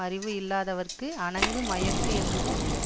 அறிவு இல்லாதவற்க்கு அணங்கு மயக்கு என்று கூறுவர்